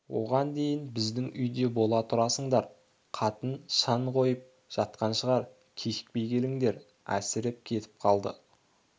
оған дейін біздің үйде бола тұрасыңдар қатын шан қойып жатқан шығар кешікпей келіңдер әсіреп кетіп қалды